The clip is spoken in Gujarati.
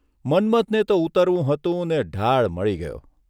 મન્મથને તો ઊતરવું હતું ને ઢાળ મળી ગયો !